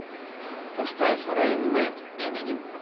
поставь рэйн мэн эминем